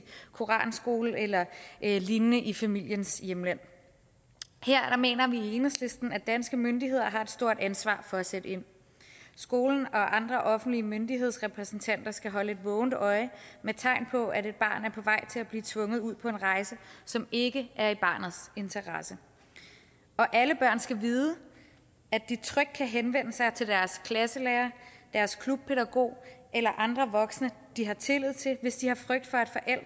koranskole eller lignende i familiens hjemland her mener vi i enhedslisten at danske myndigheder har et stort ansvar for at sætte ind skolen og andre offentlige myndighedsrepræsentanter skal holde et vågent øje med tegn på at et barn er på vej til at blive tvunget ud på en rejse som ikke er i barnets interesse og alle børn skal vide at de trygt kan henvende sig til deres klasselærer deres klubpædagog eller andre voksne de har tillid til hvis de har en frygt for